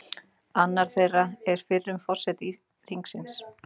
Skortsala er meðal annars notuð þegar einhver vill veðja á að eign lækki í verði.